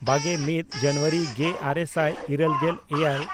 ᱵᱟᱜᱮᱼᱢᱤᱫ ᱡᱟᱱᱩᱣᱟᱨᱤ ᱜᱮᱼᱟᱨᱮ ᱥᱟᱭ ᱤᱨᱟᱹᱞᱜᱮᱞ ᱮᱭᱟᱭ